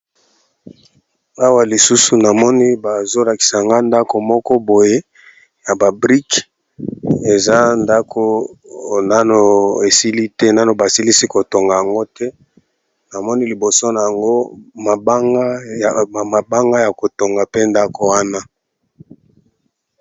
Awa , Lisusu namoni bazolakisa nga ndako moko boye ! ya babrike eza ndako nano esili te , nano basilisi kotonga yango te ! namoni liboso na yango ,mabanga ya kotonga mpe ndako wana .